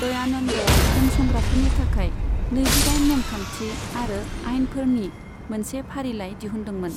दयानन्दआ उनसंग्राफोरनि थाखाय नैजि दाइन नेमखान्थि आरो आइनफोरनि मोनसे फारिलाइ दिहुनदोंमोन।